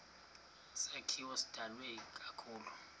sakhiwo sidalwe ikakhulu